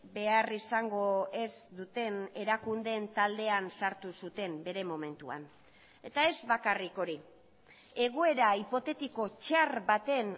behar izango ez duten erakundeen taldean sartu zuten bere momentuan eta ez bakarrik hori egoera hipotetiko txar baten